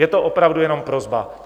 Je to opravdu jenom prosba.